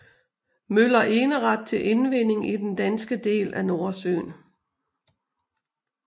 Møller eneret til indvinding i den danske del af Nordsøen